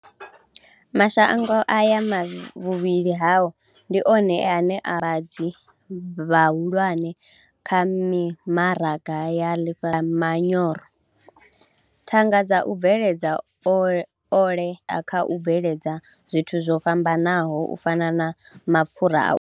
Mashango aya vhuvhili hao ndi one ane a vha vhavhambadzi vhahulwane kha mimaraga ya ḽifhasi vha manyoro, thanga dza u bveledza ole ine a u bveledza zwithu zwo fhambanaho u fana na mapfura a.